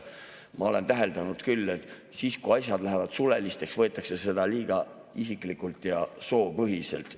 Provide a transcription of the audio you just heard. Ma olen täheldanud küll, et kui asjad lähevad suleliseks, siis võetakse seda liiga isiklikult ja soopõhiselt.